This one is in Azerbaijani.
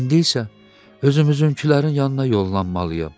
İndi isə özümüzünkilərin yanına yollanmalıyam.